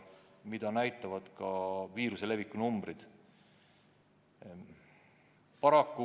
Seda näitavad ka viiruse leviku numbrid.